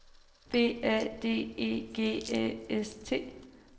B A D E G Æ S T